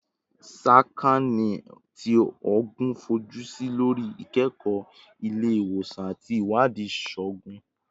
Sakaani ti Oogun fojusi lori ikẹkọ ile-iwosan ati iwadii iṣoogun